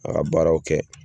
A ka baaraw kɛ.